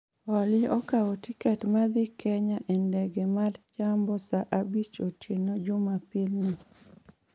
Olly okawo tiket ma dhi kenya e ndege ma jambo saa abich otieno jumapil ni